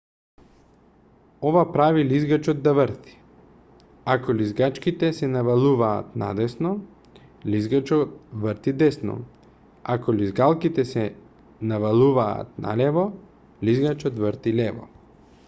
ова прави лизгачот да врти ако лизгалките се навалуваат надесно лизгачот врти десно а ако лизгалките се навалуваат налево лизгачот врти лево